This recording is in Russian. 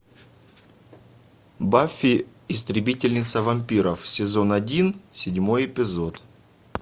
баффи истребительница вампиров сезон один седьмой эпизод